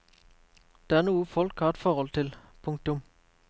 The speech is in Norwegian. Det er noe folk har et forhold til. punktum